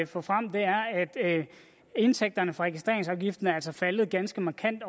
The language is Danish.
få frem er at indtægterne fra registreringsafgiften altså er faldet ganske markant